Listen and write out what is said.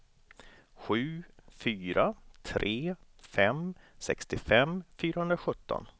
sju fyra tre fem sextiofem fyrahundrasjutton